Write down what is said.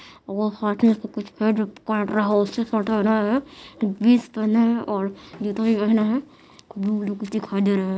वो हाथ से कुछ काट रहा है उसकी फोटो ले रहा है जीन्स पहने है और जुते भी पहने है ब्लू ब्लू कुछ दिखाई दे रहा--